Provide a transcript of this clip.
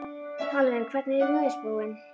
Alvin, hvernig er veðurspáin?